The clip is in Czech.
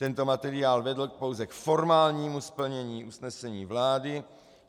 Tento materiál vedl pouze k formálnímu splnění usnesení vlády.